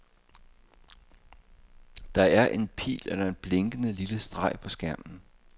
Der er en pil eller en blinkende lille streg på skærmen.